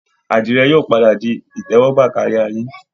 Àdìrẹ yóò padà di ìtẹ́wọ́gbà kárí ayé